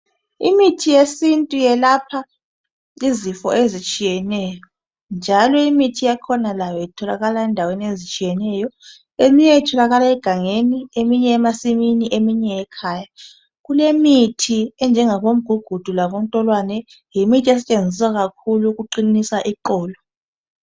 imithi yesintu yelapha izifo ezitshiyeneyo njalo imithi yakhona itholakala ezindaweni ezitshiyeneyo eminye itholakala egangeni eminye emasimini eminye ekhaya kulemithi enjengabo mgugudu labontolwane yimithi esetshenziswa kakhulu ukuqinisa iqolo